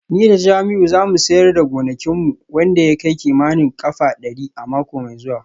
Ni da Jamiu za mu siyar da gonakin mu wanda ya kai kimanin kafa dari a mako mai zuwa